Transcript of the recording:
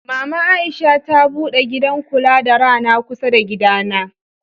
Mama Aisha ta bude gidan kula da rana kusa da gidana.